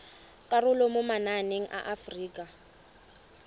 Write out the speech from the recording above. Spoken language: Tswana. karolo mo mananeng a aforika